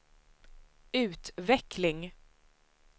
utveckling